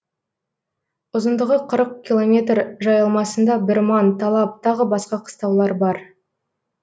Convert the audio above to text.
ұзындығы қырық километр жайылмасында бірман талап тағы басқа қыстаулар бар